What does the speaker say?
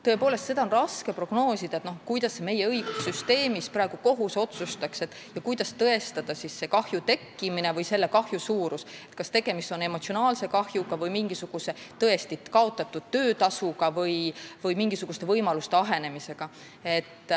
Tõepoolest, seda on raske prognoosida, kuidas meie õigussüsteemis praegu kohus otsustaks ja kuidas tõestada kahju tekkimist või selle kahju suurust, kuidas tõestada, kas tegemist on emotsionaalse kahjuga või tõesti kaotatud töötasuga või mingisuguste võimaluste ahenemisega.